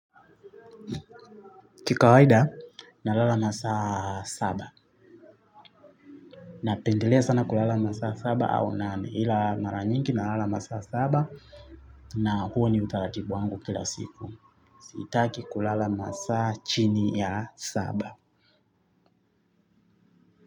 Kiwaida nalala na saa saba. Napendelea sana kulala masaa saba au nane ila mara nyingi nalala masaa saba. Na huo ni utaratibu wangu kila siku. Sitaki kulala masaa chini ya saba.